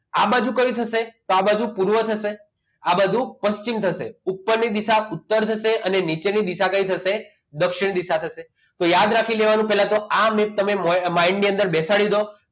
આ બાજુ કયું થશે તો આ બાજુ પૂર્વ થશે આ બાજુ પશ્ચિમ થશે ઉપરની દિશા ઉત્તર થશે અને નીચેની દિશા દક્ષિણ થશે તો યાદ રાખી લેવાનું કે આ mapmind મા બેસાડી દો